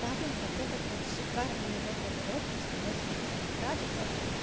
тавлин вот этот вот шикарный его поворот на сто восемьдесят градусов